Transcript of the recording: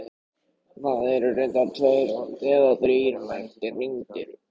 Það eru reyndar tveir eða þrír merktir hringir.